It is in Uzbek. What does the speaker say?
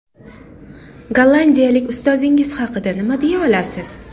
Gollandiyalik ustozingiz haqida nima deya olasiz?